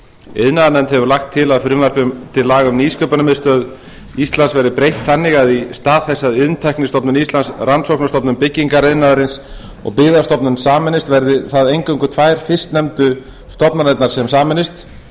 iðnaðarnefnd hefur lagt til að frumvarp til laga um nýsköpunarmiðstöð íslands verði breytt þannig að í stað þess að iðntæknistofnun íslands rannsóknastofnun byggingariðnaðarins og byggðastofnun sameinist verði það eingöngu tvær fyrstnefndu stofnanirnar sem sameinast